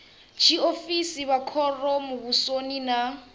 tshiofisi vha khoro muvhusoni na